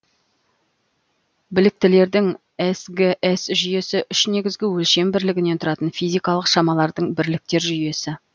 бірліктердің сгс жүйесі үш негізгі өлшем бірлігінен тұратын физикалық шамалардың бірліктер жүйесі